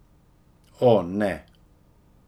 O, ne.